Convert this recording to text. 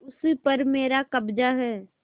उस पर मेरा कब्जा है